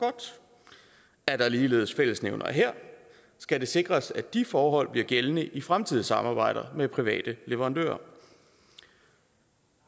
er der ligeledes fællesnævnere her skal det sikres at de forhold bliver gældende i fremtidige samarbejder med private leverandører